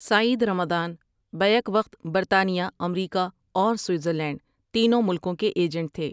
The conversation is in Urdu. سعید رمضان بیک وقت برطانیہ، امریکا اور سوئیزر لینڈ تینوں ملکوں کے ایجنٹ تھے۔